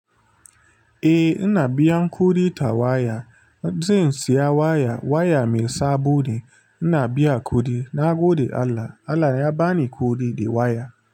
Eh, ina biyan kuɗi ta waya. Zai siya waya, waya mai sabo ne. Ina biya kuɗi. Na gode Allah, Allah ya ba ni kuɗi, da waya.